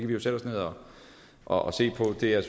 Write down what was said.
vi jo sætte os ned og og se på det er